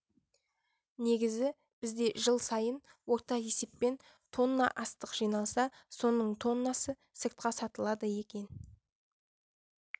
негізі бізде жыл сайын орта есеппен тонна астық жиналса соның тоннасы сыртқа сатылады екен